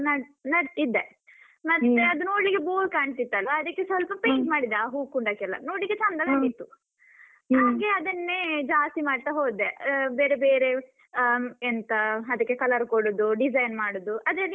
Nut~ ನಟ್ಟಿದ್ದೆ ಮತ್ತೆ ಅದು ನೋಡ್ಲಿಕ್ಕೆ bore ಕಾಣ್ತಿತ್ತಲ್ವಾ ಅದಕ್ಕೆ ಸ್ವಲ್ಪ paint ಮಾಡಿದೆ, ಆ ಹೂಕುಂಡಕ್ಕೆಲ್ಲ ನೋಡ್ಲಿಕ್ಕೆ ಚಂದ ಕಂಡಿತು, ಹಾಗೆ ಅದನ್ನೇ ಜಾಸ್ತಿ ಮಾಡ್ತಾ ಹೋದೆ. ಅಹ್ ಬೇರೆ ಬೇರೆ ಅಹ್ ಎಂತ ಅದಕ್ಕೆ colour ಕೊಡುದು design ಮಾಡುದು. ಅದ್ರಲ್ಲಿ